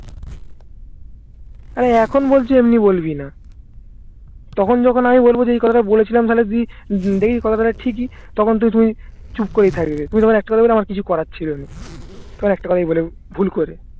তাই এখন বলছিস এমনি বলবিনা তখন যখন আমি বলবো যে এই কথাটা বলেছিলাম তাহলে তুই দেখি কথা টা ঠিকই তখন তো তুই চুপ করেই থাকবি একটা কোথাই বলবি আমার কিছু করার ছিলই না তখন একটা কথাই বলে ভুল করে